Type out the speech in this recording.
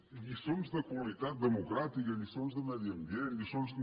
i lliçons de qualitat democràtica lliçons de medi ambient lliçons